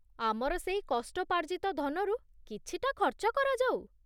ଆମର ସେଇ କଷ୍ଟୋପାର୍ଜିତ ଧନରୁ କିଛିଟା ଖର୍ଚ୍ଚ କରାଯାଉ।